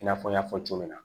I n'a fɔ n y'a fɔ cogo min na